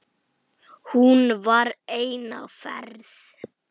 Hún var ein á ferð.